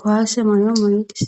kowaase mano muyidis